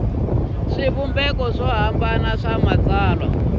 swivumbeko swo hambana swa matsalwa